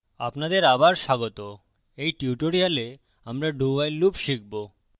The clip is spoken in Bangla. আপনাদের আবার স্বাগত in tutorial আমরা dowhile loop শিখবো